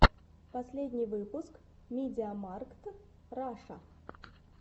последний выпуск мидиамаркт раша